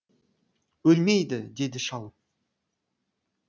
өлмейді деді шал